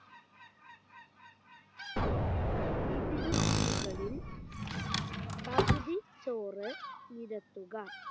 ഇതിനു മുകളിൽ പകുതി ചോറ് നിരത്തുക